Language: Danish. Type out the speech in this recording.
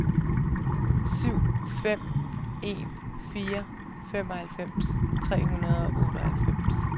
to fem en fire femoghalvtreds tre hundrede og otteoghalvfems